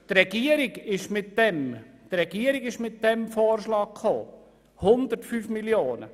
Die Regierung hat uns den Vorschlag über 105 Mio. Franken unterbreitet.